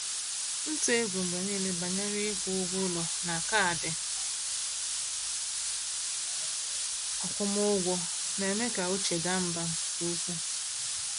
Ntụ egwu mgbe niile banyere ịkwụ ụgwọ ụlọ na kaadị akwụmụgwọ na-eme ka uche daa mbà nke ukwuu.